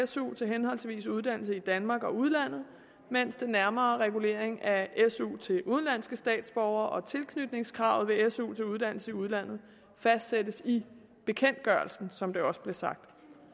su til henholdsvis uddannelse i danmark og udlandet mens den nærmere regulering af su til udenlandske statsborgere og tilknytningskravet ved su til uddannelse i udlandet fastsættes i bekendtgørelsen som det også blev sagt